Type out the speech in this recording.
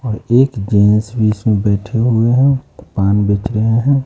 और एक जेंस भी इसमें बैठे हुए है पान बेच रहे है।